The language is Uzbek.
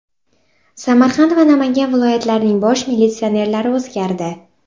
Samarqand va Namangan viloyatlarining bosh militsionerlari o‘zgardi.